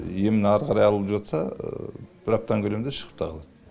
емін ары қарай алып жатса бір аптаның көлемінде шығып та қалады